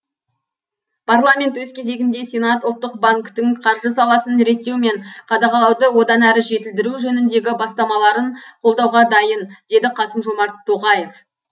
парламент өз кезегінде сенат ұлттық банктің қаржы саласын реттеу мен қадағалауды одан әрі жетілдіру жөніндегі бастамаларын қолдауға дайын деді қасым жомарт тоқаев